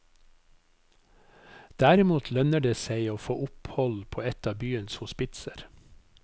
Derimot lønner det seg å få opphold på et av byens hospitser.